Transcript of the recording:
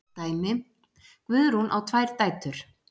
Dæmi: Guðrún á tvær dætur.